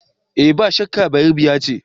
Eh idan ba shakka, Bayerebiya ce.